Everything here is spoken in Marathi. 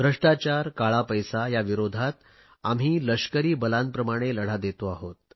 भ्रष्टाचार काळा पैसा या विरोधात आम्ही लष्करी बलांप्रमाणेच लढा देतो आहोत